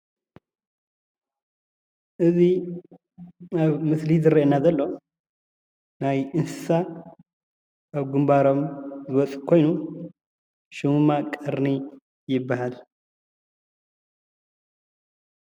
እዚ ኣብ ምስሊ ዝረአየና ዘሎ ናይ እንስሳ ኣብ ግንባሮም ዝወፅእ ኮይኑ ሽሙ ድማ ቀርኒ ይባሃል፡፡